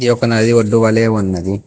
ఇది ఒక నడి ఒడ్డు వలే ఉన్నది.